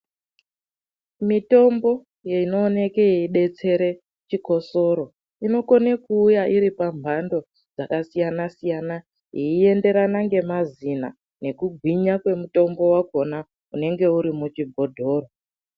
Mitombo inooneke yedetsera chikosoro inokone kuuya iri pamhando dzakasiyana siyana yeienderana ngemazina nekugwinya kwemutombo wachona unenge uri muchibhodhoro.